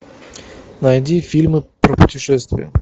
найди фильмы про путешествия